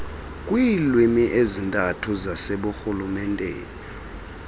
kwiilwimi ezintathu zaseburhulumenteni